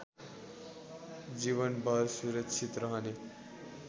जीवनभर सुरक्षित रहने